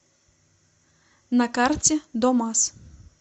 на карте домас